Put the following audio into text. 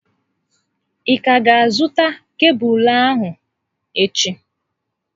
Ị ka ga azụta kebụlụ ahụ echi?